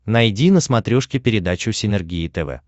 найди на смотрешке передачу синергия тв